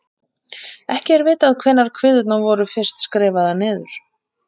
Ekki er vitað hvenær kviðurnar voru fyrst skrifaðar niður.